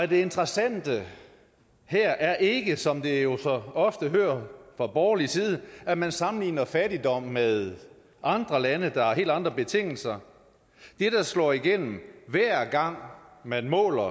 det interessante her er ikke som vi jo så ofte hører fra borgerlig side at man sammenligner fattigdom med andre lande der har helt andre betingelser det der slår igennem hver gang man måler